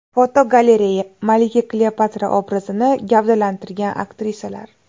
Fotogalereya: Malika Kleopatra obrazini gavdalantirgan aktrisalar.